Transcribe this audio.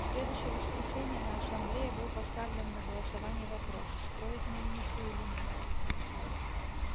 в следующее воскресенье на ассамблее был поставлен на голосование вопрос строить мельницу или нет